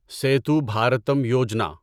Setu Bharatam Yojana